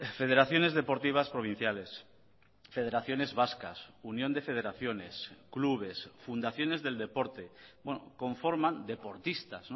federaciones deportivas provinciales federaciones vascas unión de federaciones clubes fundaciones del deporte conforman deportistas